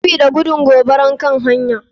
Sabida gudun gobarar kan hanya.